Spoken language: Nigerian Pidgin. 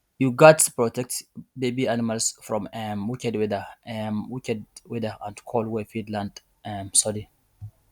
you gats protect baby animals from um wicked weather um wicked weather and cold wey fit land um sudden